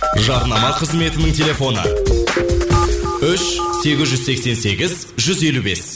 жарнама қызметінің телефоны үш сегіз жүз сексен сегіз жүз елу бес